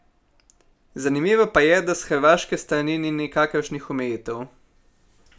Zanimivo pa je, da s hrvaške strani ni nikakršnih omejitev.